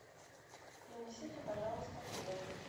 принесите пожалуйста фен